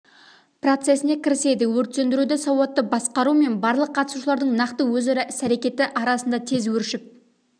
процесіне кіріседі өрт сөндіруді сауатты басқару мен барлық қатысушылардың нақты өзара іс-әрекеті арқасында тез өршіп